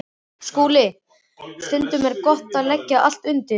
SKÚLI: Stundum er gott að leggja allt undir.